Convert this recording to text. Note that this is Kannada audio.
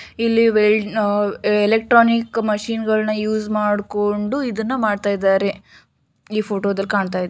ಇಲ್ಲಿ ವೆಲ್ಡ ಎಲೆಕ್ಟ್ರಾನಿಕ್ ಮಿಷಿನ್ಗಳನ್ನು ಯೂಸ್ ಮಾಡ್ಕೊಂಡು ಇದನ್ನ ಮಾಡ್ತಾ ಇದ್ದಾರೆ ಈ ಫೋಟೋದಲ್ಲಿ ಕಾಣ್ತಾ ಇದೆ.